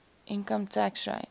income tax rate